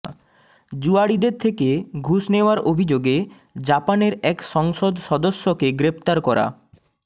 জুয়াড়িদের থেকে ঘুষ নেওয়ার অভিযোগে জাপানের এক সংসদ সদস্যকে গ্রেপ্তার করা